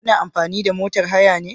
Kuna amfani da motar haya ne?